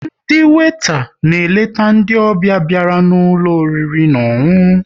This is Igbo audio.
Ndị weta na-eleta ndị ọbịa bịara n'ụlọ oriri na ọṅụṅụ